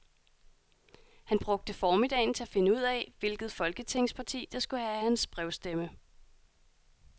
Han brugte formiddagen til at finde ud af, hvilket folketingsparti, der skulle have hans brevstemme.